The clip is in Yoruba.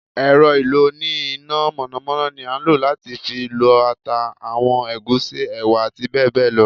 èrò ìlò oní iná mọnamọna ní a ń lo latí fí lọ ata, awọn egúsí, ewa ati bẹbẹ lọ